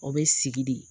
O bɛ sigi de